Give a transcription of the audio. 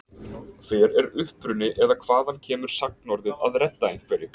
Hver er uppruni eða hvaðan kemur sagnorðið að redda einhverju?